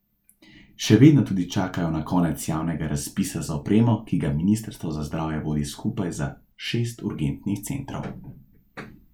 Še vedno tudi čakajo na konec javnega razpisa za opremo, ki ga ministrstvo za zdravje vodi skupaj za šest urgentnih centrov.